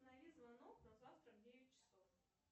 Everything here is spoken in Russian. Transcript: установи звонок на завтра в девять часов